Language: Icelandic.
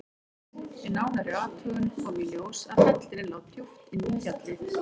Við nánari athugun kom í ljós að hellirinn lá djúpt inn í fjallið.